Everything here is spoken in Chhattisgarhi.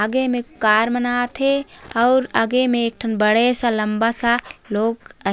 आगे में कार मन आत हे आउर आगे में एक ठन बड़े सा लम्बे सा लोग आ--